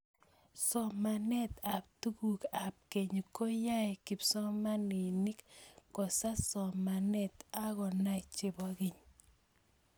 somanet ap tukuk ap keny koyaei kipsomaninik kosas somanet akonai chepo keny